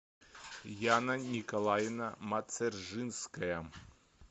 яна николаевна мацержинская